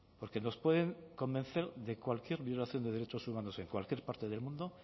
porque nos pueden convencer de cualquier violación de derechos humanos en cualquier parte del mundo